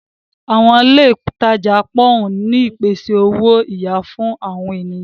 Àwọn ilé ìtajà pòwún ń pèsè owó-iyà fún àwọn ènìyàn.